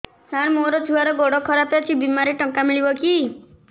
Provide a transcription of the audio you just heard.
ସାର ମୋର ଛୁଆର ଗୋଡ ଖରାପ ଅଛି ବିମାରେ ଟଙ୍କା ମିଳିବ କି